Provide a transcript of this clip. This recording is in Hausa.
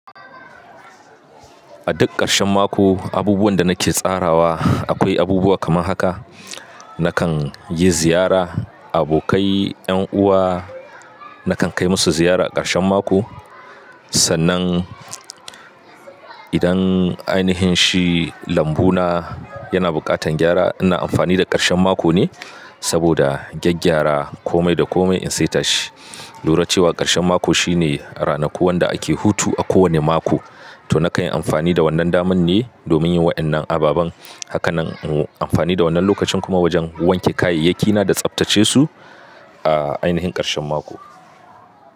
A duk ƙarshen mako, abubuwan da nake tsarawa akwai abubuwa kamar haka. Nakan yi ziyara, abokai, 'yan uwa nakan kai musu ziyara ƙarshen mako. Sannan idan ainihin shi lambu na yana buƙatan gyara, ina amfani da ƙarshen mako ne saboda gyaggyara kome da kome in saita shi. Lura cewa ƙarshen mako shine ranaku wanda ake hutu a kowane mako. To nakan yi amfani da wannan daman ne domin yin waɗannan ababen. Hakanan in yi amfani da wannan lokacin kuma wajen wanke kayayyaki na da tsaftace su a ainihin karshen mako.